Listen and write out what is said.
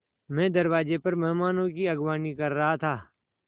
मैं दरवाज़े पर मेहमानों की अगवानी कर रहा था